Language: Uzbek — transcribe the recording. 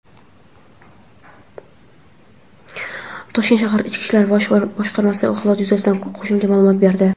Toshkent shahar Ichki ishlar bosh boshqarmasi holat yuzasidan qo‘shimcha ma’lumot berdi.